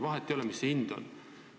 Vahet ei ole, mis selle hind on.